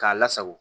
K'a lasago